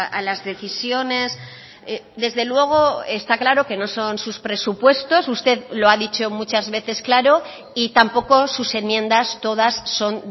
a las decisiones desde luego está claro que no son sus presupuestos usted lo ha dicho muchas veces claro y tampoco sus enmiendas todas son